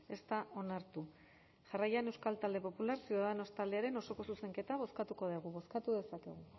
ez da onartu jarraian euskal talde popular ciudadanos taldearen osoko zuzenketa bozkatu dugu bozkatu dezakegu